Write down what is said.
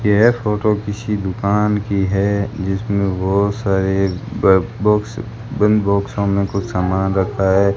यह फोटो किसी दुकान की है जिसमें बहोत सारे ब बॉक्स बंद बाक्सों में कुछ सामान रखा है।